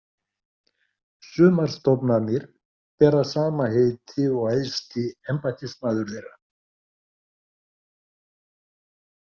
Sumar stofnanir bera sama heiti og æðsti embættismaður þeirra.